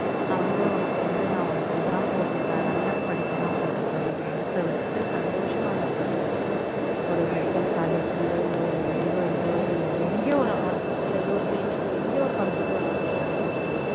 நான் வந்து உனக்கு வந்து நான் உனக்கு இது தான் போட்டுருக்கேன் நல்ல படிப்பு தான் போட்டுருக்கேன் நீ மனசை விட்டு சந்தோஷமா அதை படி ஒரு medical college லயோ இல்ல ஒரு railway லயோ இல்ல ஒரு எங்கயோ ஒரு hospital ஏதோ ஒரு clinic லயோ எங்கயோ ஒரு computer வேலை உனக்கு கிடைச்சுரும்